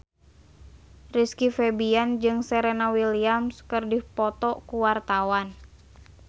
Rizky Febian jeung Serena Williams keur dipoto ku wartawan